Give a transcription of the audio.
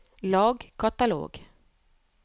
lag katalog